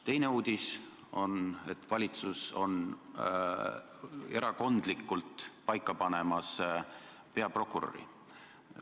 Teine uudis oli, et valitsus on erakondlikult paika panemas peaprokuröri.